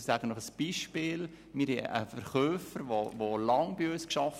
Ich gebe Ihnen ein Beispiel: Wir haben einen Verkäufer, der lange bei uns gearbeitet hat.